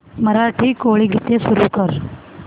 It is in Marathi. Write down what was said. मराठी कोळी गीते सुरू कर